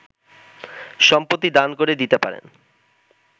সম্পত্তি দান করে দিতে পারেন